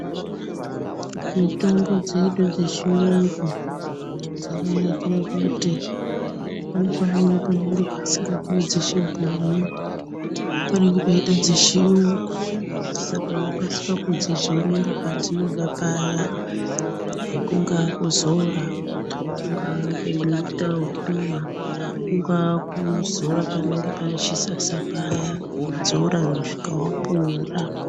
Mitombo dzedu dzechiyungu dzakanakira kuti pane pamweni panenge pasingapuwi dzechibhoyi panenge peida dzechiyungu saka inokasika kudzidzorera padzinoda paya kungaa kudzora kungaa kuita wekumwa, kungaa kudzora paya pane chisasa kusvika wapora.